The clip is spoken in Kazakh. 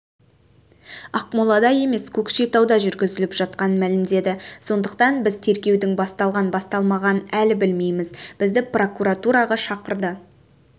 ақмолда емес көкшетауда жүргізіліп жатқанын мәлімдеді сондықтан біз тергеудің басталған-басталмағанын әлі білмейміз бізді прокуратураға шақырды